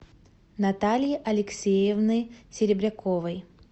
натальи алексеевны серебряковой